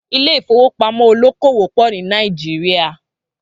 Ilé ìfowópamọ́ olókòwò pọ̀ ni Naijiria